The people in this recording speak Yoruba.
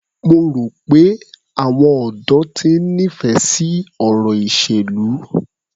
Mo rò pé àwọn ọ̀dọ́ ti ń nífẹ̀ẹ́ sí ọ̀rọ̀ ìṣèlú.